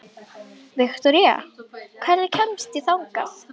Viktoría, hvernig kemst ég þangað?